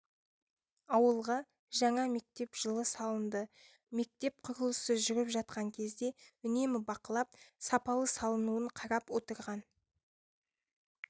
ауылға жаңа мектеп жылы салынды мектеп құрылысы жүріп жатқан кезде үнемі бақылап сапалы салынуын қарап отырған